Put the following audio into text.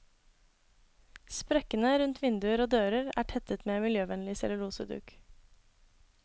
Sprekkene rundt vinduer og dører er tettet med miljøvennlig celluloseduk.